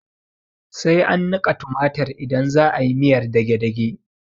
Sai an niƙa tumatir idan za'ayi miyar dagedage